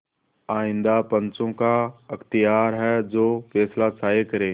आइंदा पंचों का अख्तियार है जो फैसला चाहें करें